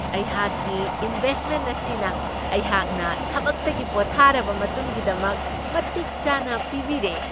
ꯑꯩꯍꯥꯛꯀꯤ ꯏꯟꯕꯦꯁ꯭ꯠꯃꯦꯟ ꯑꯁꯤꯅ ꯑꯩꯍꯥꯛꯅ ꯊꯕꯛꯇꯒꯤ ꯄꯣꯊꯥꯔꯕ ꯃꯇꯨꯡꯒꯤꯗꯃꯛ ꯃꯇꯤꯛ ꯆꯥꯅ ꯄꯤꯕꯤꯔꯦ ꯫